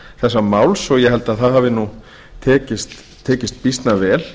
þessa máls og ég held að það hafi tekist býsna vel